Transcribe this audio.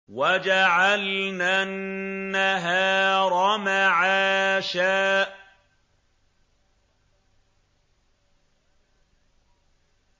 وَجَعَلْنَا النَّهَارَ مَعَاشًا